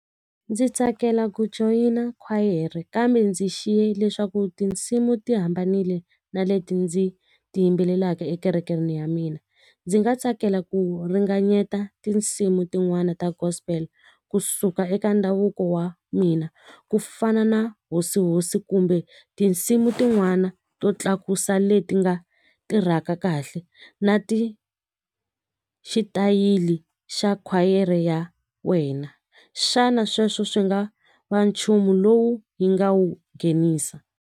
Ndzi tsakela joyina khwayere kambe ndzi xiye leswaku tinsimu ti hambanile na leti ndzi tiyimbelelaka ekerekeni ya mina. Ndzi nga tsakela ku ringanyeta tinsimu tin'wani ta gospel kusuka eka ndhavuko wa mina ku fana na hosi hosi kumbe tinsimu tin'wana to tlakusa leti nga tirhaka kahle na ti xitayili xa khwayere ya wena xana sweswo swi nga va nchumu lowu hi nga wu nghenisa.